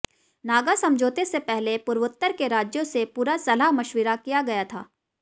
नागा समझौते से पहले पूर्वोत्तर के राज्यों से पूरा सलाह मशविरा किया गया था